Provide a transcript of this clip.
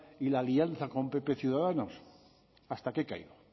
y la alianza con pp ciudadanos hasta que he caído